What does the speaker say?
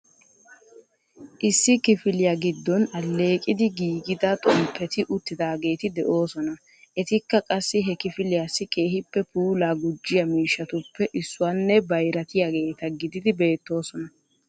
Issi kifiliya giddon alleeqidi giigida xomppeti uttidaageeti de'oosona. Etikka qassi he kifiliyassi keehippe puulaa gujjiyaa miishshatuppe issuwanne bayrattiyaageeta gididi beettoosona.